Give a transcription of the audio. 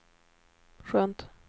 skönt